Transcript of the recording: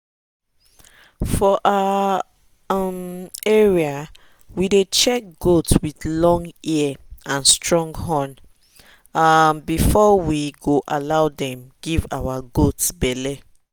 for our um area we dey check goat with long ear and strong horn um before we go allow dem give our goat belle.